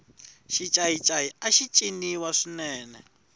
xincayincayi axi ciniwa swinene